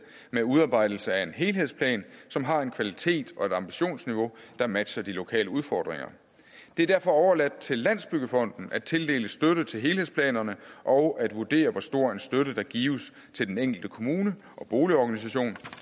med udarbejdelse af en helhedsplan som har en kvalitet og et ambitionsniveau der matcher de lokale udfordringer det er derfor overladt til landsbyggefonden at tildele støtte til helhedsplanerne og at vurdere hvor stor en støtte der gives til den enkelte kommune og boligorganisation